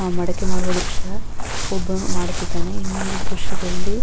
ಮಡಕೆ ಮಾಡುವ ದ್ರಶ್ಯ ಒಬ್ಬ ಮಾಡುತ್ತಿದ್ದಾನೆ ಇನ್ನೊಂದು ದ್ರಶ್ಯದಲ್ಲಿ --